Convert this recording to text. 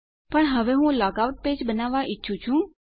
પણ હવે હું લોગ આઉટ પેજ બનાવવા ઈચ્છું છું